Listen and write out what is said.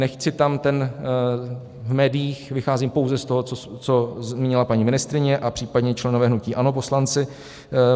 Nechci tam ten v médiích, vycházím pouze z toho, co zmínila paní ministryně a případně členové hnutí ANO, poslanci.